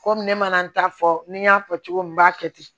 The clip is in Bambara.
Komi ne mana n ta fɔ ni n y'a fɔ cogo min n b'a kɛ ten